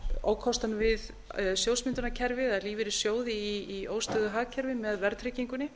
ókostunum við sjóðsmyndunarkerfið eða lífeyrissjóði í óstöðugu hagkerfi með verðtryggingunni